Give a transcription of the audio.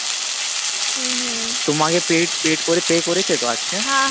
হম হম তোমাকে paid paid করে pay করেছে তো আজকে